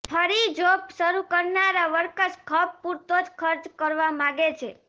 ફરી જોબ શરૂ કરનારા વર્કર્સ ખપ પૂરતો જ ખર્ચ કરવા માગે છે